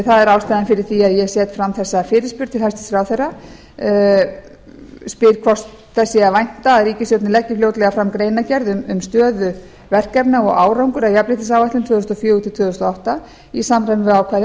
það er ástæðan fyrir því að ég set fram þessa fyrirspurn til hæstvirts ráðherra spyr hvort þess sé að vænta að ríkisstjórnin leggi fljótlega fram greinargerð um stöðu verkefna og árangur að jafnréttisáætlun tvö þúsund og fjögur til tvö þúsund og átta í samræmi við ákvæði